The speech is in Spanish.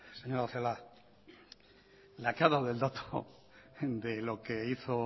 señora celaá la que ha dado el dato de lo que hizo